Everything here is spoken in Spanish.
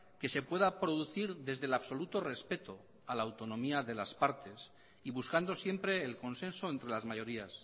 que se pueda producir desde el absoluto respeto a la autonomía de las partes y buscando siempre el consenso entre las mayorías